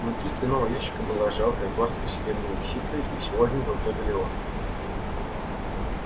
внутри стального ящика была жалкая горстка серебряных сиклей и всего один золотой галлеон